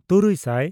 ᱛᱩᱨᱩᱭᱼᱥᱟᱭ